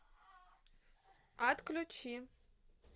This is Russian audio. отключи